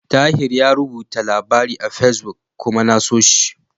Tahir yayi rubuta labari a Fesbuk kuma na so shi.